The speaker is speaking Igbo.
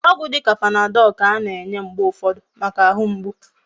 Ogwu dika panadol ka ana enye mgbe ufodu Maka ahu mgbu